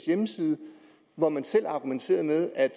hjemmeside hvor man selv argumenterer med at